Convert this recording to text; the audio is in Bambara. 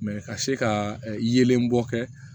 ka se ka yelen bɔ kɛ